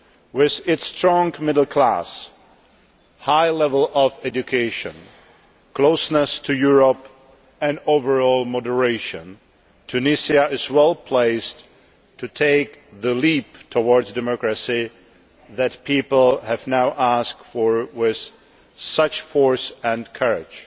With its strong middle class, high level of education, closeness to Europe and overall moderation, Tunisia is well placed to take the leap towards democracy that people have now asked for with such force and courage,